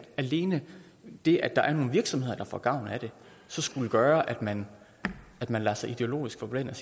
alene det at der er nogle virksomheder der får gavn af det så skulle gøre at man at man lader sig ideologisk forblænde